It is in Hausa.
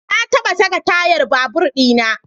Na taba sake tayar babur di na.